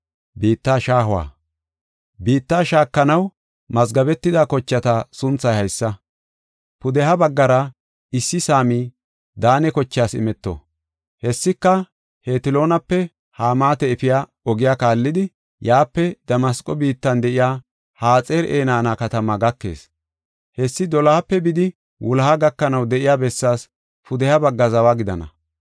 “Biittaa shaakanaw mazgabetida kochata sunthay haysa: Pudeha baggara issi saami Daane kochaas imeto. Hessika Hetloonape Hamaata efiya ogiya kaallidi, yaape Damasqo biittan de7iya Haxar-Enaana katamaa gakees. Hessi dolohape bidi wuloha gakanaw de7iya bessaas pudeha bagga zawa gidana.